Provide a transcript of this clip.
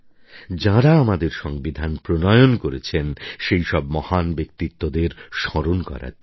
যাঁরা আমাদের সংবিধান প্রণয়ন করেছেন সেই সব মহান ব্যক্তিত্বদের স্মরণ করার দিন